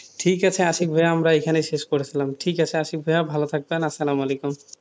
ঠিক আছে আশিক ভাইয়া আমরা এখানেই শেষ করলাম, ঠিক আছে আশিক ভাইয়া ভালো থাকবেন, সালাম আলাইকুম,